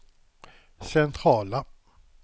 centrala